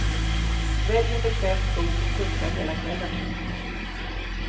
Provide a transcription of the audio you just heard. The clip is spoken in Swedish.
Välj en bekväm sko som funkar hela kvällen.